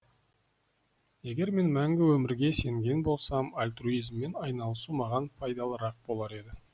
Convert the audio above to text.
егер мен мәңгі өмірге сенген болсам альтруизммен айналысу маған пайдалырақ болар еді